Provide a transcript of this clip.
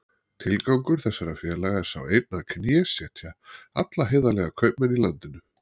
Tilgangur þessara félaga er sá einn að knésetja alla heiðarlega kaupmenn í landinu.